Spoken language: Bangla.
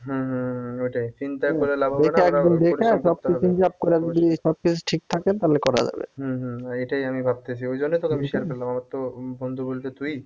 হম হম ঐটাই চিন্তা করে লাভ হবে না সব কিছু ঠিক থাকে তালে করা যাবে উম হম এইটাই আমি ভাবতেছি ওই জন্য তোকে আমি share করলাম আমার তো বন্ধু বলতে তুই